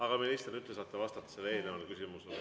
Aga, minister, nüüd te saate vastata eelnevale küsimusele.